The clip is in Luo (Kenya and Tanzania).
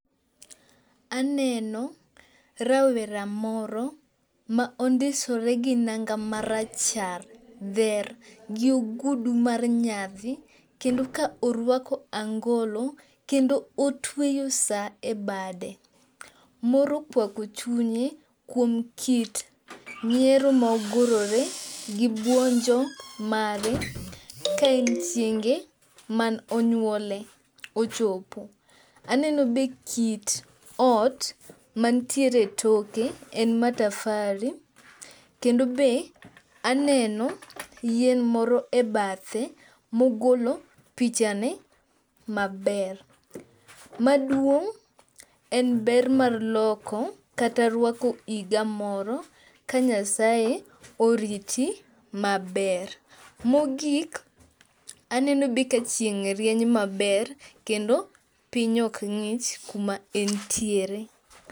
Aneno rawera moro ma ondisore gi nanga marachar dher gi ogudu mar nyadhi kendo ka orwako angolo kendo otweyo saa e bade. Mor okwako chunye kuom kit nyiero mogurore gi buonjo mare ka en chienge man onyuole ochopo. Aneno be kit ot mantiere toke en matafari kendo be aneno yien moro e bathe mogolo pichane maber. Maduong' en ber mar loko kata rwako iga moro ka Nyasaye oriti maber. Mogik aneno be kachieng' rieny maber kendo piny okng'ich kumaentiere.